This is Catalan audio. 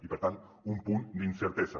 i per tant un punt d’incertesa